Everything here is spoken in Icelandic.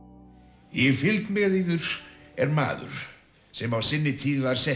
í fylgd með yður er maður sem á sinni tíð var settur